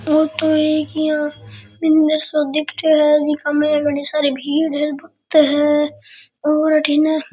औ तो एक इया मंदिर सा दिख रहे है जीका मे घणी सारी भीड़ है बहुत है और अठीन --